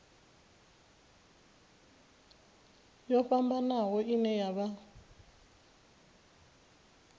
yo fhambanaho ine ya vha